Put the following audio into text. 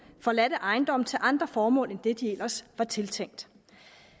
forladte ejendomme til andre formål end det de ellers var tiltænkt